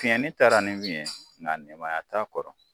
taara ni min ye nka nɛmaya t'a kɔrɔ